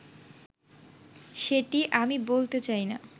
সেটি আমি বলতে চাইনা